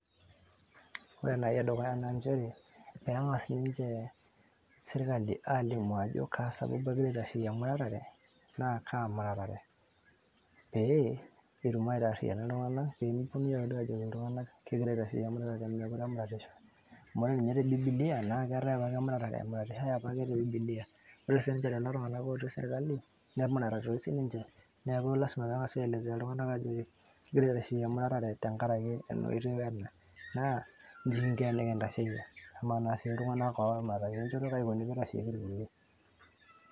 ore enaai edukuya naa inchere peeng'as ninche sirkali alimu ajo kaa sababu egira aitasheyie emuratare? naa kaa muratare? pee etum aitarriyiana iltung'anak pemikiponunui ake duo ajoki iltung'anak kegirae aitasheyie emuratare meekure emuratishoi amu ore ninye te bibilia naa keetae apake emuratare emuratishoe apake te bibilia ore sininche lelo tung'anak otii serkali nemurata toi sininche neeku lasima peng'asi aelesea iltung'anak ajo kigira aitasheyie emuratare tenkarake ena oitoi wena naa inji kinko enikintasheyie amaa naa sii iltung'anak otumurataki enchoto kaji ikoni piitasheyieki irkulie.